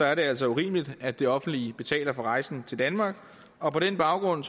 er det altså urimeligt at det offentlige betaler for rejsen til danmark og på den baggrund